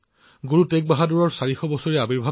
গুৰু টেগ বাহাদুৰজীৰ ৪০০তম প্ৰকাশ পৰ্বও আছে